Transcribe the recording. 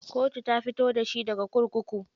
Kotu ta fito da shi daga kurkuku.